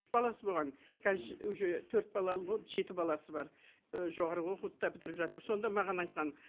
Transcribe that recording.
баласы болған қазір уже төрт балалы болып жеті баласы бар і жоғарғы оқуды да бітіріп жатыр сонда маған айтқан